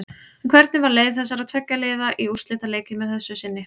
En hvernig var leið þessara tveggja liða í úrslitaleikinn að þessu sinni?